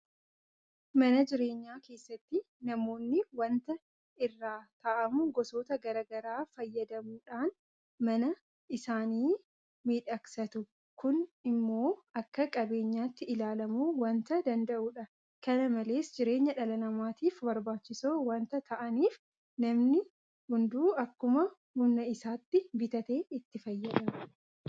Mana jireenyaa keessatti namoonni waanta irra taa'amu gosoota garaa garaa fayyadamuudhaan mana isaanii miidhaksaatu. Kun immoo akka qabeenyaatti ilaalamuu waanta danda'udha. Kana malees jireenya dhala namaatiif barbaachisoo waanta ta'aniif namni hunduu akkuma humna isaatti bitatee itti fayyadama.